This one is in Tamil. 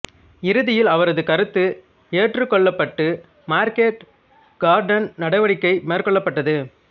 இறுதியில் அவரது கருத்து ஏற்றுக்கொள்ளப்பட்டு மார்க்கெட் கார்டன் நடவடிக்கை மேற்கொள்ளப்பட்டது